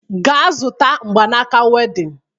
Gaa zụta mgbanaaka wedịn!